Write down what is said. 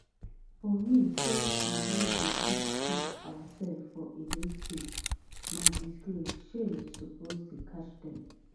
for me say we no dey fit feed oursefs for edo state na disgrace shame suppose dey catch dem